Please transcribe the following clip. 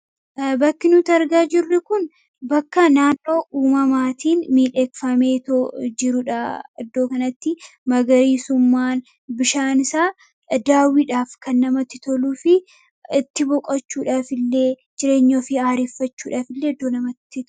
bakki nuti argaa jirru kun bakka naannoo uumamaatiin miil eekfaameetoo jiruudha iddoo kanatti magariisummaan bishaan isaa daawwiidhaaf kan namatti toluu fi itti boqachuudhaaf illee jireenyoo fi aariffachuudhaaf illee eddoo namatti